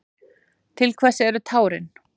Til hvers eru tárin?